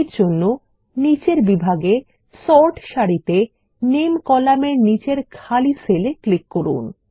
এরজন্য নিচের বিভাগে সর্ট সারিতে নামে কলামের নিচের খালি সেলে ক্লিক করুন